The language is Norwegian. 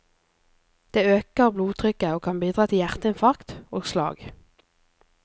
Det øker blodtrykket og kan bidra til hjerteinfarkt og slag.